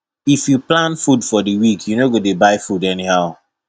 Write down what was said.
if you plan food for di week you no go dey buy food anyhow